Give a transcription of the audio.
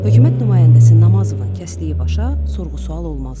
Hökumət nümayəndəsi Namazovun kəsdiyi başa sorğu-sual olmazdı.